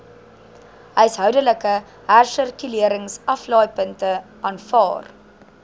huishoudelike hersirkuleringsaflaaipunte aanvaar